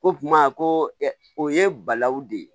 Ko kuma ko ɛ o ye balawu de ye